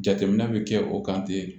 Jateminɛ bɛ kɛ o kan ten